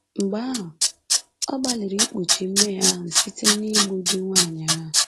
Mgbe ahụ, ọ gbalịrị ikpuchi mmehie ahụ site n’igbu di nwanyị ahụ